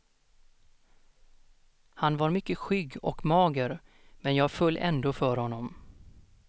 Han var mycket skygg och mager, men jag föll ändå för honom.